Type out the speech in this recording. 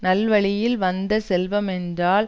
நல்வழியில் வந்த செல்வமென்றால்